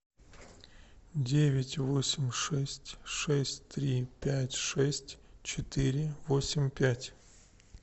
девять восемь шесть шесть три пять шесть четыре восемь пять